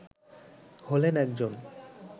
হলেন একজন